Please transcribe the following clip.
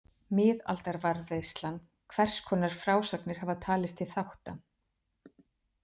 Miðaldavarðveislan Hvers konar frásagnir hafa talist til þátta?